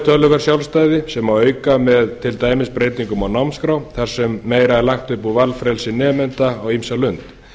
töluvert sjálfstæði sem má auka með til dæmis breytingum á námskrá þar sem meira er lagt upp úr valfrelsi nemenda á ýmsa lund